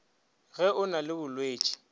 ge o na le bolwetši